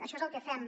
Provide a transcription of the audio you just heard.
això és el que fem